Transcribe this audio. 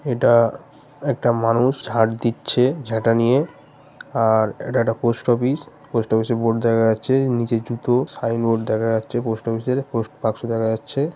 এটা একটা মানুষ ঝাট দিচ্ছে ঝাঁটা নিয়ে আর এটা একটা পোস্ট অফিস পোস্ট অফিস -এর বোর্ড দেখা যাচ্ছে নিচের জুতো সাইনবোর্ড দেখা যাচ্ছে পোস্ট অফিস -এর পোস্ট বাক্স দেখা যাচ্ছে ।